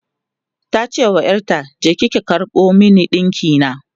tace wa ƴarta "je ki karɓo min dinki na!"